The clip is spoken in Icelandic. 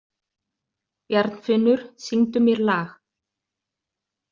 Bjarnfinnur, syngdu mér lag.